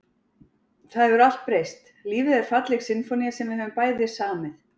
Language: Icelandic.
Það hefur allt breyst, lífið er falleg sinfónía sem við höfum bæði samið.